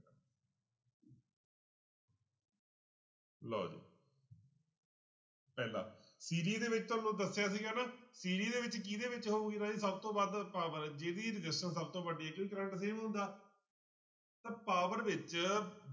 ਲਓ ਜੀ ਪਹਿਲਾ ਦੇ ਵਿੱਚ ਤੁਹਾਨੂੰ ਦੱਸਿਆ ਸੀਗਾ ਨਾ ਦੇ ਵਿੱਚ ਕਿਹਦੇ ਵਿੱਚ ਹੋਊਗੀ ਰਾਜੇ ਸਭ ਤੋਂ ਵੱਧ power ਜਿਹਦੀ resistance ਸਭ ਤੋਂ ਵੱਡੀ ਹੈ ਕਰੰਟ same ਆਉਂਦਾ ਤਾਂ power ਵਿੱਚ